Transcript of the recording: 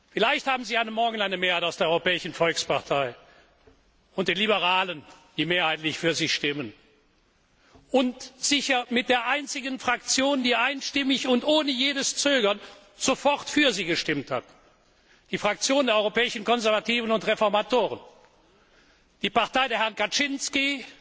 Vielleicht haben Sie morgen eine Mehrheit, bestehend aus der Europäischen Volkspartei und den Liberalen, die mehrheitlich für Sie stimmen, und sicher der einzigen Fraktion, die einstimmig und ohne jedes Zögern sofort für Sie gestimmt hat die Fraktion der Europäischen Konservativen und Reformisten, die Partei der Herren Kaczyński,